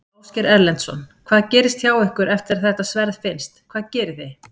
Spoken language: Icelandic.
Ásgeir Erlendsson: Hvað gerist hjá ykkur eftir að þetta sverð finnst, hvað gerið þið?